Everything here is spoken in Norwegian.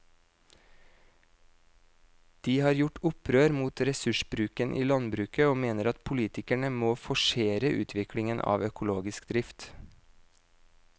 De har gjort opprør mot ressursbruken i landbruket og mener at politikerne må forsere utviklingen av økologisk drift.